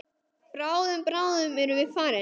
Bráðum, bráðum erum við farin.